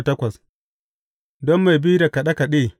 Don mai bi da kaɗe kaɗe.